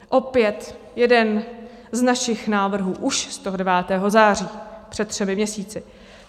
Opět jeden z našich návrhů, už z toho 9. září, před třemi měsíci.